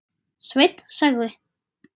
Sveinn sagði.